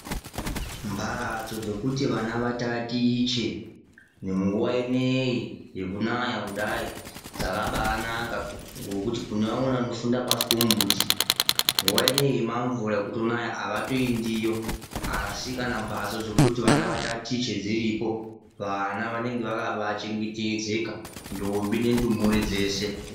Mbatso dzokuti vana vatatiche nemunguva ineiyi yekunaya kudai dzakabaanaka, ngokuti kune vamweni vanofunda pasi pemumbuti. Nguva ino yemamvura ekutonaya havatoindiyo asi kana mbatso dzekuti vana vatatiche dziripo, vana vanenge vakabaachengetedza, ndombi nendumure dzese.